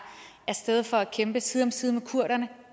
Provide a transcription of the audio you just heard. af sted for at kæmpe side om side med kurderne